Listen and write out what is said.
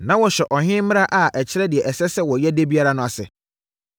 Na wɔhyɛ ɔhene mmara a ɛkyerɛ deɛ ɛsɛ sɛ wɔyɛ da biara no ase.